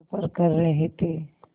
सफ़र कर रहे थे